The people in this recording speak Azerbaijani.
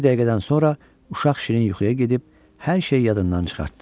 Bir dəqiqədən sonra uşaq şirin yuxuya gedib hər şey yadından çıxartdı.